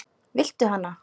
Viltu hana?